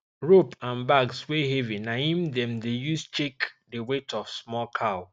rope and bags wey heavy na im dem dey use check the weight of small cow